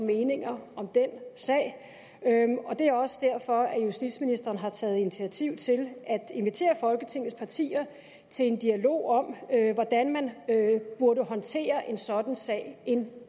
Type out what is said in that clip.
meninger om den sag og det er også derfor justitsministeren har taget initiativ til at invitere folketingets partier til en dialog om hvordan man burde håndtere en sådan sag en